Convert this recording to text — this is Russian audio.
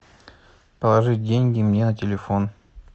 положи деньги мне на телефон